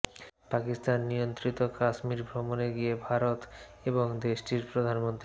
পাকিস্তান নিয়ন্ত্রিত কাশ্মীর ভ্রমণে গিয়ে ভারত এবং দেশটির প্রধানমন্ত্রী